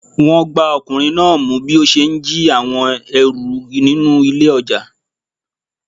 Wọn gbá ọkùnrin náà mú bí ó ṣe ń jí àwọn ẹrù nínú ilé ọjà.